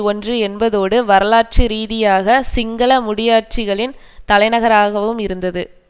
ஒன்று என்பதோடு வரலாற்று ரீதியாக சிங்கள முடியாட்சிகளின் தலைநகராகவும் இருந்தது